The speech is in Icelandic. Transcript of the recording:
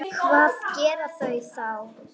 Hvað gera þeir þá?